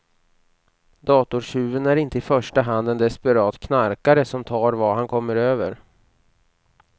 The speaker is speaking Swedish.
Datortjuven är inte i första hand en desperat knarkare som tar vad han kommer över.